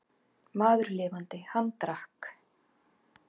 Maður lifandi, hann drakk.